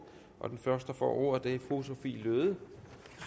og den første der får ordet er fru sophie løhde